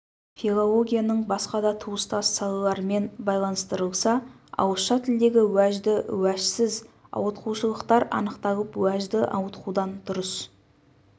филологияның басқа да туыстас салаларымен байланыстырылса ауызша тілдегі уәжді уәжсіз ауытқушылықтар анықталып уәжді ауытқудан дұрыс